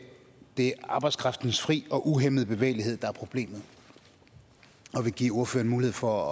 det er arbejdskraftens fri og uhæmmede bevægelighed der er problemet og vil give ordføreren mulighed for